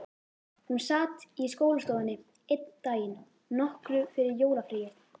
Hún sat í skólastofunni einn daginn, nokkru fyrir jólafríið.